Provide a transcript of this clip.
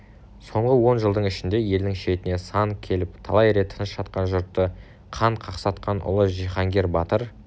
соңғы он жылдың ішінде елінің шетіне сан келіп талай рет тыныш жатқан жұртты қан қақсатқан ұлы жиһангер батыр